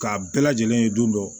K'a bɛɛ lajɛlen ye don dɔ